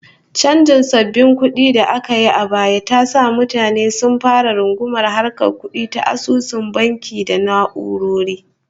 Chanjin sabbin kudi da aka yi a baya ta sa mutane sun fara rungumar harkar kudi ta asusun banki da na'urori